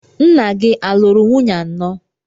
Nna gị a lụrụ nwunye anọ?